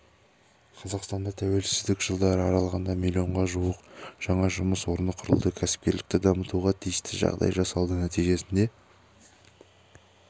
қазақстанда тәуелсіздік жылдары аралығында миллионға жуық жаңа жұмыс орны құрылды кәсіпкерлікті дамытуға тиісті жағдай жасалды нәтижесінде